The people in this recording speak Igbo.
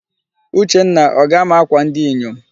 Uchenna, o ga-ama akwa ndi inyom?